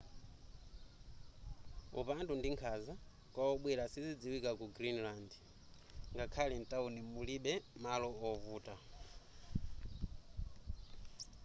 upandu ndi nkhanza kwa obwera sizidziwika ku greenland.ngakhale mtawuni mulibe malo ovuta